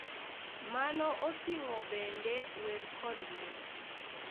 Mano oting’o bende wer kod miel.